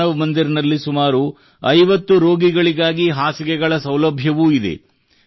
ಮಾನವ್ ಮಂದಿರ್ ನಲ್ಲಿ ಸುಮಾರು 50 ರೋಗಿಗಳಿಗಾಗಿ ಹಾಸಿಗೆಗಳ ಸೌಲಭ್ಯವೂ ಇದೆ